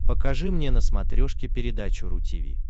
покажи мне на смотрешке передачу ру ти ви